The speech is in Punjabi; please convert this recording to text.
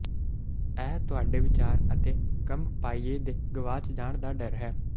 ਇਹ ਤੁਹਾਡੇ ਵਿਚਾਰ ਅਤੇ ਕੰਮ ਪਾਈਏ ਦੇ ਗਵਾਚ ਜਾਣ ਦਾ ਡਰ ਹੈ